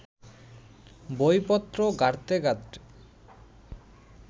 বইপত্র ঘাঁটতে ঘাঁটতে